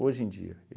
Hoje em dia.